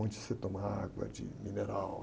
Onde você toma água de mineral...